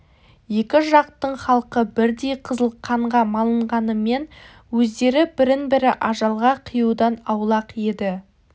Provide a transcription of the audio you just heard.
екі жақтың халқы бірдей қызыл қанға малынғанымен өздері бірін-бірі ажалға қиюдан аулақ еді